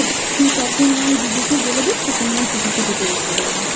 তুই তখন নয় জিজুকে বলে দিস তখন নয় Ticket টা কেটে রেখে দেবে